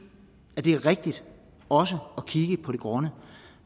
det er rigtigt også at kigge på det grønne